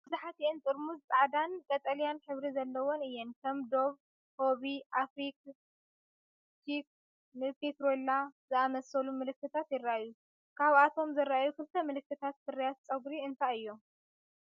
መብዛሕትአን ጥርሙዝ ጻዕዳን ቀጠልያን ሕብሪ ዘለወን እየን። ከም "ዶቭ"፡ "ሆቢ"፡ "ኣፍሪክ ቺክ"ን "ፔትሮላ"ን ዝኣመሰሉ ምልክታት ይረኣዩ። ካብቶም ዝረኣዩ ክልተ ምልክታት ፍርያት ጸጉሪ እንታይ እዮም?